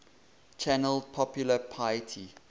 channeled popular piety